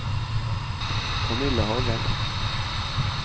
Kamilla Hagen